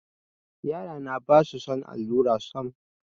Yarana ba su son allura sam.